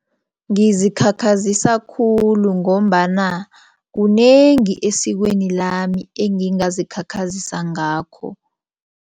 Ngizikhakhazisa khulu ngombana kunengi esikweni lami engingazikhakhazisa ngakho.